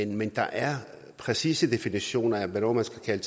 men der er præcise definitioner af hvornår man skal